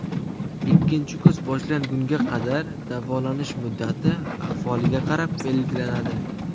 Ikkinchi kurs boshlangunga qadar davolanish muddati ahvoliga qarab belgilanadi.